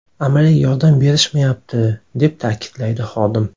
Amaliy yordam berishmayapti”, deb ta’kidlaydi xodim.